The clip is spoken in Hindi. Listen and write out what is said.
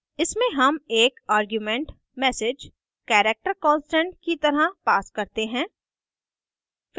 इसमें हम एक argument msg character constant की तरह pass करते हैं